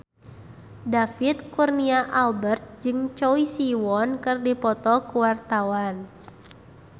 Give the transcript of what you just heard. David Kurnia Albert jeung Choi Siwon keur dipoto ku wartawan